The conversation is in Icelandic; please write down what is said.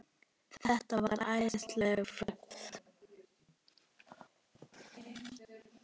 Þetta var æðisleg ferð.